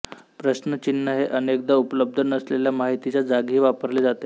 प्रश्न चिन्ह हे अनेकदा उपलब्ध नसलेल्या माहितीच्या जागीही वापरले जाते